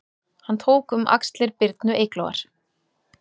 Hann tók um axlir Birnu Eyglóar